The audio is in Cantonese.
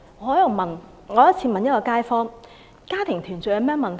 我有一次問一位街坊，家庭團聚有何問題？